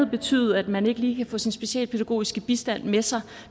betyde at man ikke lige kan få sin specialpædagogisk bistand med sig